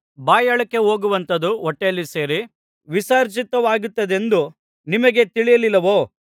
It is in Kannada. ಬಾಯೊಳಕ್ಕೆ ಹೋಗುವಂಥದ್ದು ಹೊಟ್ಟೆಯಲ್ಲಿ ಸೇರಿ ವಿಸರ್ಜಿತವಾಗುತ್ತದೆಂದು ನಿಮಗೆ ತಿಳಿಯಲಿಲ್ಲವೋ